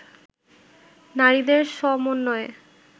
নারীদের সমন্বয়ে